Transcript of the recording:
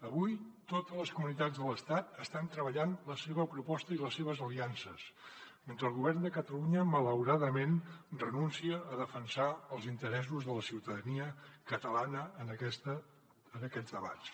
avui totes les comunitats de l’estat estan treballant la seva proposta i les seves aliances mentre que el govern de catalunya malauradament renuncia a defensar els interessos de la ciutadania catalana en aquests debats